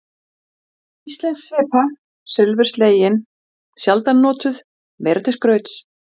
Bessastaðahreppi, en aðrir hlutar höfuðborgarsvæðisins fá vatn sitt úr lághitasvæðum í